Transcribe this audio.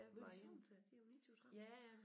Midt i sommerferien det uge 29 30